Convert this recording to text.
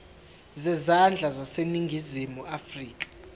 zezandla zaseningizimu afrika